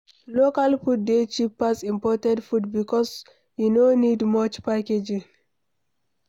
Local food dey cheap pass imported food because e no need much packaging